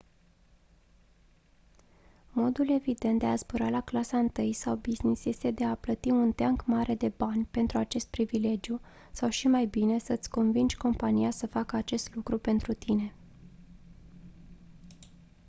modul evident de a zbura la clasa întâi sau business este de a plăti un teanc mare de bani pentru acest privilegiu sau și mai bine să-ți convingi compania să facă acest lucru pentru tine